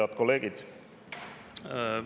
Head kolleegid!